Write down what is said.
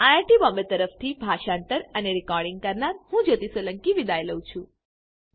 IIT Bombay તરફથી હું જ્યોતી સોલંકી વિદાય લઉં છું